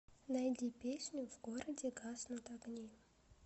найди песню в городе гаснут огни